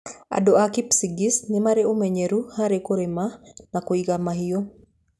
Andũ a Kipsigis nĩ marĩ ũmenyeru harĩ kũrĩma na kũiga mahiũ.